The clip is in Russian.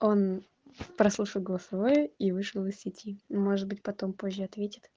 он прослушать голосовое и вышел из сети может быть потом позже ответит